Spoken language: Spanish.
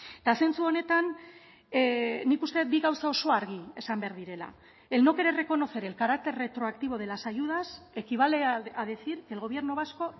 eta zentzu honetan nik uste dut bi gauza oso argi esan behar direla el no querer reconocer el carácter retroactivo de las ayudas equivale a decir que el gobierno vasco